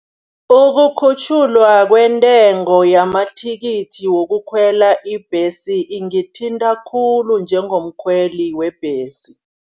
Ukukhutjhulwa kwentengo yamathikithi wokukhwela ibhesi iingithinta khulu njengomkhweli webhesi.